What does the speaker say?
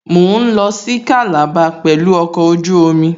Mò ń lọ sí Calabar pẹ̀lú ọkọ̀ ojú omi